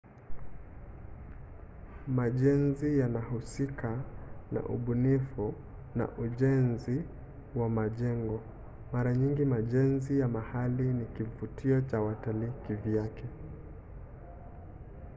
majenzi yanahusika na ubunifu na ujenzi wa majengo. mara nyingi majenzi ya mahali ni kivutio cha watalii kivyake